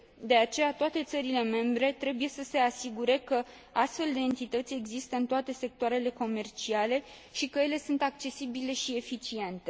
De aceea, toate țările membre trebuie să se asigure că astfel de entități există în toate sectoarele comerciale și că ele sunt accesibile și eficiente.